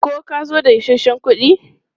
Ko ka zo da isasshen kuɗi?